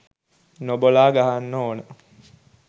නොබලා ගහන්න ඕන.